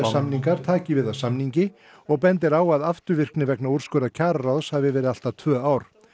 samningur taki við af samningi og bendir á að afturvirkni vegna úrskurða kjararáðs hafi verið allt að tvö ár